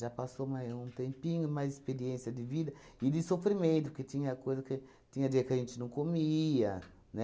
Já passou mai um tempinho, mais experiência de vida e de sofrimento, porque tinha coisa que tinha dia que a gente não comia, né?